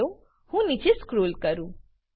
ચાલો હું નીચે સ્ક્રોલ કરું